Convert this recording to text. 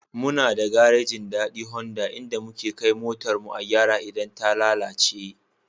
Muna da garejin Dadi Honda inda muke motar mu a gyara idan ta lalace.